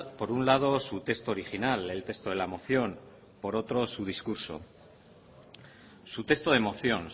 por un lado su texto original el texto de la moción por otro su discurso su texto de moción